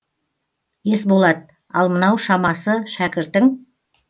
есболат ал мынау шамасы шәкіртің